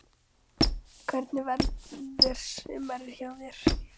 Hvernig verður sumarið hjá þér?